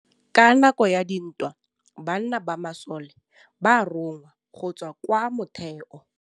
Ka nakô ya dintwa banna ba masole ba rongwa go tswa kwa mothêô.